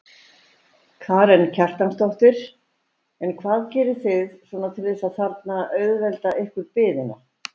Karen Kjartansdóttir: En hvað gerið þið svona til þess að þarna auðvelda ykkur biðina?